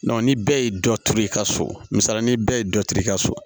ni bɛɛ ye dɔ turu i ka so misali la ni bɛɛ ye dɔ turu i ka so